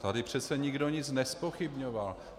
Tady přece nikdo nic nezpochybňoval.